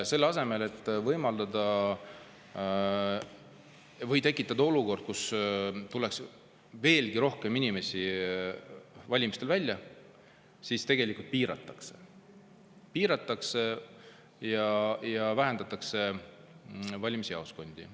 Selle asemel, et tekitada olukord, kus tuleks veelgi rohkem inimesi valimistel välja, tegelikult piiratakse võimalusi, vähendatakse valimisjaoskondi.